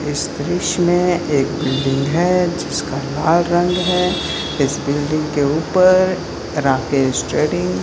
इस दृश्य में एक बिल्डिंग है जिसका लाल रंग है इस बिल्डिंग के ऊपर राकेश ट्रेडिंग --